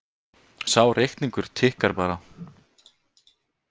Sá reikningur tikkar bara